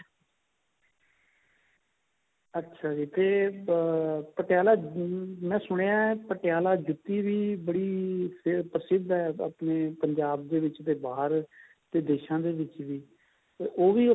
ਅੱਛਾ ਜੀ ਤੇ ਅਹ ਪਟਿਆਲਾ ਮੈਂ ਸੁਣਿਆ ਪਟਿਆਲਾ ਜੁੱਤੀ ਵੀ ਬੜੀ ਪ੍ਰਸਿਧ ਹੈ ਬਾਕੀ ਪੰਜਾਬ ਦੇ ਵਿੱਚ ਤੇ ਬਾਹਰ ਦੇ ਦੇਸ਼ਾ ਦੇ ਵਿੱਚ ਵੀ ਤੇ ਉਹ ਵੀ